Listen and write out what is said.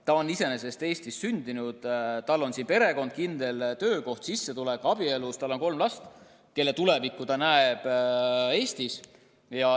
Ta on Eestis sündinud, tal on siin perekond, kindel töökoht ja sissetulek, ta on abielus, tal on kolm last, kelle tulevikku ta näeb samuti Eestis.